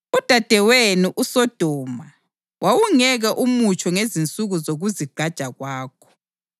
Udadewenu, uSodoma wawungeke umutsho ngezinsuku zokuzigqaja kwakho,